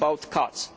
cuts.